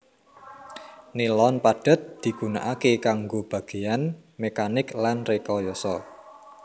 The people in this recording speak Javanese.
Nilon padhet digunakaké kanggo bagéyan mekanik lan rekayasa